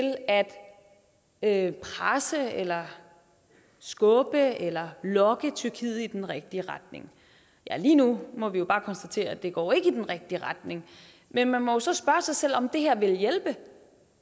at presse eller skubbe eller lokke tyrkiet i den rigtige retning lige nu må vi jo bare konstatere at det ikke går i den rigtige retning men man må så spørge sig selv om det her vil hjælpe